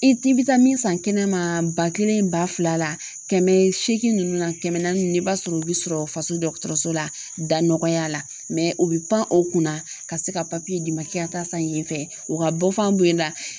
I bɛ taa min san kɛnɛma ba kelen ba fila la kɛmɛ seegin ninnu na kɛmɛ naani i b'a sɔrɔ u bɛ sɔrɔ faso dɔgɔtɔrɔso la da nɔgɔya la o bɛ pan o kunna ka se ka papiye d'i ma k'i ka taa san yen fɛ o ka bɔ fɔ an bolo la